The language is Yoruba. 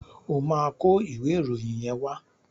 Ó máa kọ ìwé ìròyìn yẹn wá.